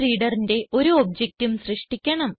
BufferedReaderന്റെ ഒരു objectഉം സൃഷ്ടിക്കണം